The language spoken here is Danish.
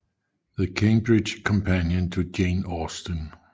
The Cambridge Companion to Jane Austen